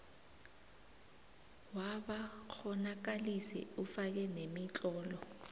wabakghonakalisi ufake nemitlolo